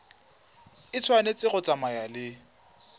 e tshwanetse go tsamaya le